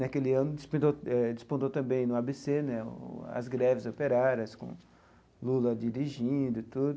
Naquele ano, despontou também no Á Bê Cê né as greves operárias, com Lula dirigindo e tudo.